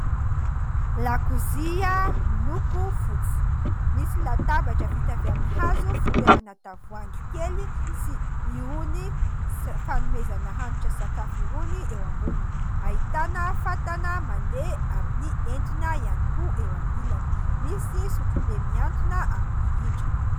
Lakozia miloko fotsy. Misy latabatra vita avy amin'ny hazo fitoerana tavoahangy kely sy irony fanomezana hanitra sakafo irony eo amboniny. Ahitana fatana mandeha amin'ny entona ihany koa eo amin'ny ilany. Misy sotrobe mihantona amin'ny rindrina.